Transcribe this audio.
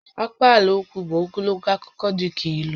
Akpaalaokwu bụ ogologo akụkọ dị ka ílú